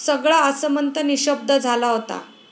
सगळा आसमंत निशब्द झाला होता.